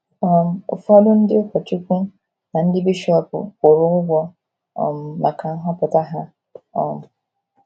um Ụfọdụ ndị ụkọchukwu na ndị bishọp kwụrụ ụgwọ um maka nhọpụta ha um.